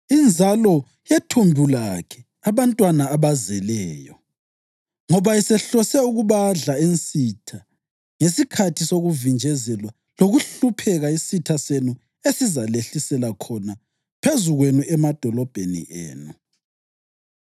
inzalo yethumbu lakhe abantwana abazeleyo. Ngoba esehlose ukubadla ensitha ngesikhathi sokuvinjezelwa lokuhlupheka isitha senu esizalehlisela khona phezu kwenu emadolobheni enu.